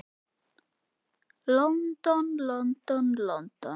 London, London, London.